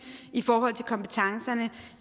i forhold til kompetencerne